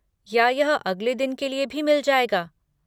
या यह अगले दिन के लिए भी मिल जाएगा?